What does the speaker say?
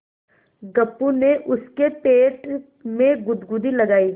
गप्पू ने उसके पेट में गुदगुदी लगायी